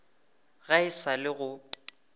ga e sa le go